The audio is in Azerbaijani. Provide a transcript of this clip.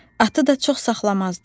Atı da çox saxlamazdı.